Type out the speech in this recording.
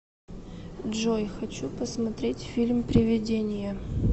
джой хочу посмотреть фильм привидения